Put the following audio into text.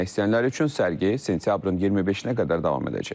İzləmək istəyənlər üçün sərgi sentyabrın 25-nə qədər davam edəcək.